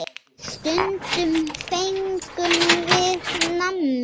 Stundum fengum við nammi.